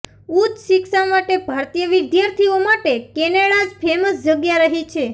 ઉચ્ચ શિક્ષા માટે ભારતીય વિદ્યાર્થીઓ માટે કેનેડા જ ફેમસ જગ્યા રહી છે